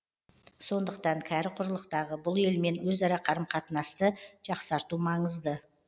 сондықтан кәрі құрлықтағы бұл елмен өзара қарым қатынасты жақсарту маңызды